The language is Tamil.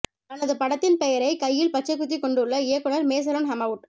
தனது படத்தின் பெயரை கையில் பச்சை குத்திக் கொண்டுள்ள இயக்குநர் மேசலூன் ஹமவுட்